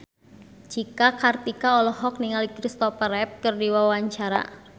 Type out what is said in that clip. Cika Kartika olohok ningali Kristopher Reeve keur diwawancara